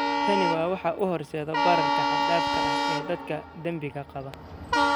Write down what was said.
Tani waa waxa u horseeda bararka xad-dhaafka ah ee dadka dabinka qaba.